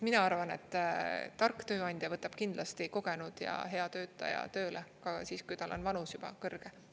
Mina arvan, et tark tööandja võtab kindlasti kogenud ja hea töötaja tööle ka siis, kui tal on valus juba kõrge.